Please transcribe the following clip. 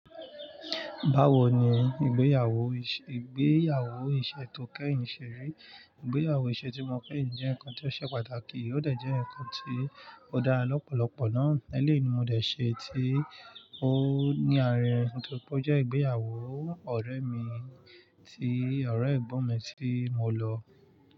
Báwo ni ìgbéyàwó, ìgbéyàwó ìṣe tó kẹ́yìn ṣe rí, ìgbéyàwó ìṣe tí mo kẹ́yìn jẹ́ nǹkan tí ó ṣe pàtàkì, ó dà jẹ́ nǹkan tí ó dá lọ́pọ̀lọ́pọ̀ náà. Eléèni mo dẹ̀ ṣe tí ó ní àárín, tó pó jẹ́ ìgbéyàwó ọ̀rẹ́ mi tí ọ̀rẹ́ ẹ̀gbọ́n mi tí mo lọ.